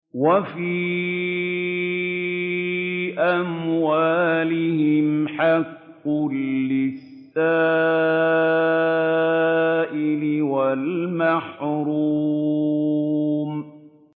وَفِي أَمْوَالِهِمْ حَقٌّ لِّلسَّائِلِ وَالْمَحْرُومِ